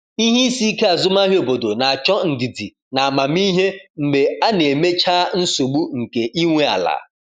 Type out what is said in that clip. Ihe isi ike azụmahịa obodo na-achọ ndidi na amamihe mgbe a na-emechaa nsogbu nke ị nwe ala.